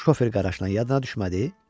"Şofer Qaraşla yadına düşmədi?"